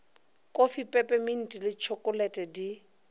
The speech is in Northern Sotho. kofi pepeminti le tšhokolete di